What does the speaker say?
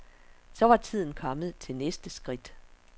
Så var tiden kommet til næste skridt.